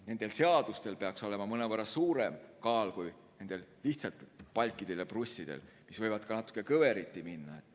Nendel seadustel peaks olema mõnevõrra suurem kaal kui nendel palkidel ja prussidel, mis võivad natuke kõveriti minna.